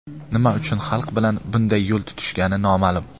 Nima uchun xalq bilan bunday yo‘l tutishgani noma’lum.